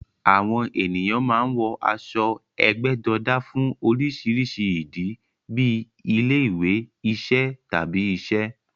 Àwọn ènìyàn máa ń wọ aṣọ ẹgbẹ́jọdá fún oríṣiríṣi ìdí, bíi ilé-ìwé, iṣẹ́, tàbí iṣẹ́.